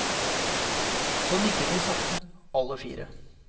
Så nikket vi sakte, alle fire.